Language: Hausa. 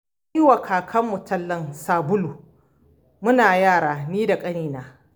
Na yi wa kakarmu tallan sabulu muna yara ni da ƙanina.